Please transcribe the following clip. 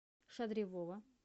шадривова